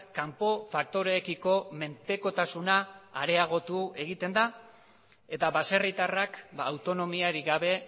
kanpo faktoreekiko menpekotasuna areagotu egiten da eta baserritarrak autonomiarik gabe